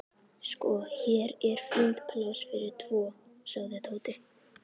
Sko, hér er fínt pláss fyrir tvo sagði Tóti.